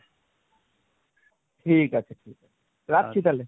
ঠিক আছে রাখছি তাহলে।